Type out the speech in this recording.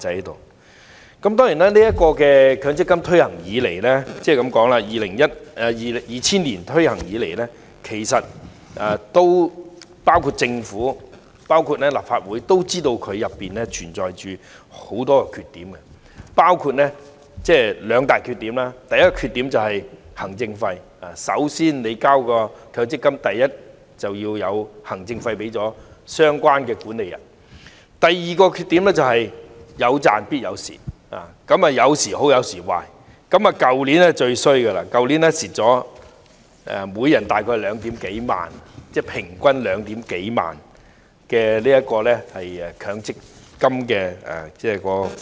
當然，強積金制度自2000年推行以來，政府和立法會也知道該制度存在很多缺點，其中有兩大缺點：第一，是行政費，市民的強積金供款必須先支付行政費予相關的管理人；第二，是"有賺必有蝕"，有時好，有時壞，去年情況最差，每人平均虧蝕2萬多元強積金供款。